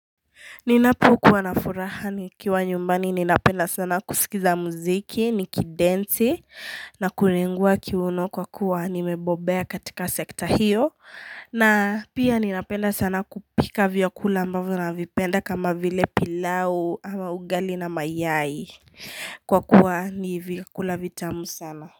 Ninapu kuwanafurahani kiwa nyumbani ninapenda sana kusikiza muziki, nikidensi na kuningua kiuno kwa kuwa nimebobea katika sekta hiyo na pia ninapenda sana kupika vyakula ambavu navipenda kama vile pilau ama ugali na mayai kwa kuwa ni vyakula vitamu sana.